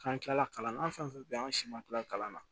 K'an kila kalan an fɛn fɛn bɛ yen an si ma kila kalan na